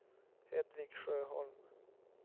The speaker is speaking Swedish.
Hedvig Sjöholm